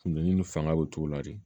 Funteni ni fanga bɛ o cogo la de